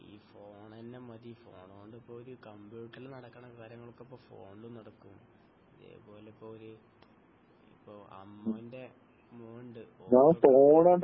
ഈ ഫോണെന്നെ മതി ഫോണൊണ്ട് ഇപ്പൊ ഒരു കമ്പ്യൂട്ടറിൽ നടക്കുന്ന കാര്യങ്ങൾ ഒക്കെ ഇപ്പൊ ഫോണിൽ നടക്കും അതേപോലെ ഇപ്പൊരു ഇപ്പൊ അമ്മുൻ്റെ മോൻ ഉണ്ട്